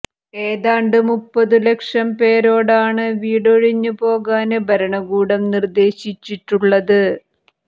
ഏതാണ്ട് മുപ്പതു ലക്ഷം പേരോടാണു വീടൊഴിഞ്ഞു പോകാന് ഭരണകൂടം നിര്ദേശിച്ചിട്ടുള്ളത്